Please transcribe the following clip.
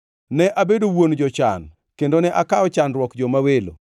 Ne abedo wuon jochan; kendo ne akawo chandruok joma welo.